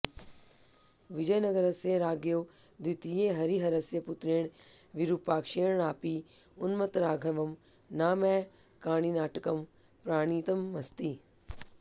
विजयनगरस्य राज्ञो द्वितीयहरिहरस्य पुत्रेण विरूपाक्षेणापि उन्मत्तराघवं नामैकाङ्निाटकं प्रणीतमस्ति